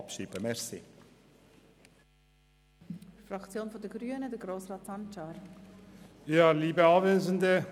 Die glpFraktion wird die Motion annehmen und gleichzeitig abschreiben.